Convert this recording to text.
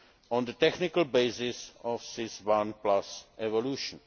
II, on the technical basis of SIS I evolution.